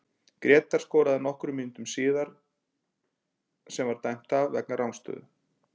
Grétar skoraði nokkrum mínútum síðar sem var dæmt af vegna rangstöðu.